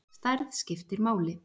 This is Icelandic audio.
Stærð skiptir máli.